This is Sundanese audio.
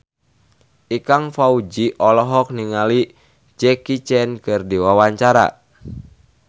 Ikang Fawzi olohok ningali Jackie Chan keur diwawancara